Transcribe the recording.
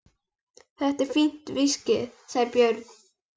Þetta er fínt viskí, sagði Björn.